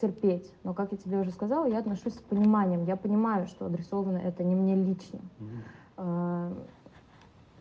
терпеть ну как я тебе уже сказала я отношусь с пониманием я понимаю что адресовано это не мне лично